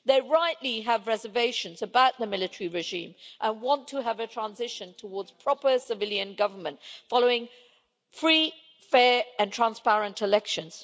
They rightly have reservations about the military regime and want to have a transition towards proper civilian government, following free, fair and transparent elections.